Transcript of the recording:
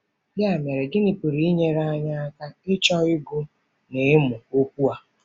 Ya mere, gịnị pụrụ inyere anyị aka ịchọ ịgụ na ịmụ Okwu ya?